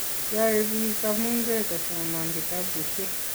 Yoe biik kamunge kosoman kitabushe.